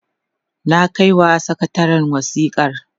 na kaiwa sakatarin wasikar